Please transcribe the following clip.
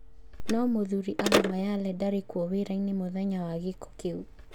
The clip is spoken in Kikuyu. No mũthuri Abumayyaleh ndarĩ kuo wĩra-inĩ mũthwnya wa gĩko kĩu